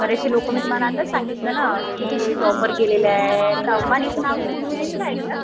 बरेचशे लोकं मी तुम्हाला आताच सांगितलं ना कि टॉपवर गेलेले आहेत. अंबानींचं नाव कधी तुम्ही ऐकलं आहे का?